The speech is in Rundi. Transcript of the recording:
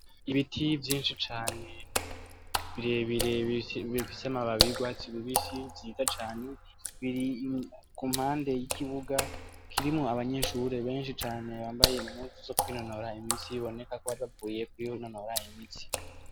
Ibiti vyinshi cane, birebire bifise amababi y'urwatsi rubisi vyiza cane, biri kumpande y'ikibuga, kirimwo abanyeshure benshi cane, bambaye impuzu zo kwinonora imitsi, biboneka ko baje kwinonora imitsi.